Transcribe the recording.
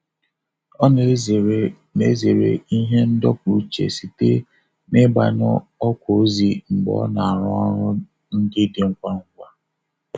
Ọ na-ezere na-ezere ihe ndọpụ uche site n'ịgbanyụ ọkwa ozi mgbe ọ na-arụ ọrụ ndị dị ngwa ngwa.